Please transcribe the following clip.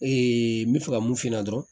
n bɛ fɛ ka mun f'i ɲɛna dɔrɔn